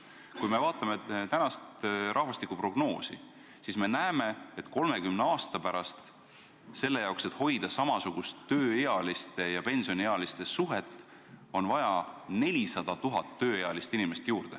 Kui me vaatame tänast rahvastikuprognoosi, siis me näeme, et 30 aasta pärast selle jaoks, et hoida samasugust tööealiste ja pensioniealiste suhet, on vaja 400 000 tööealist inimest juurde.